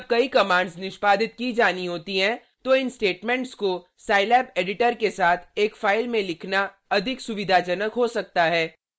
जब कई कमांड्स निष्पादित की जानी होती हैं तो इन स्टेटमेंट्स को scilab एडिटर के साथ एक फाइल में लिखना अधिक सुविधाजनक हो सकता है